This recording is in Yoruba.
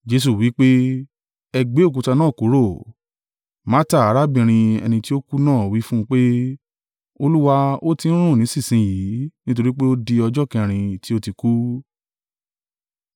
Jesu wí pé, “Ẹ gbé òkúta náà kúrò!” Marta, arábìnrin ẹni tí ó kú náà wí fún un pé, “Olúwa, ó ti ń rùn nísinsin yìí, nítorí pé ó di ọjọ́ kẹrin tí ó tí kú.”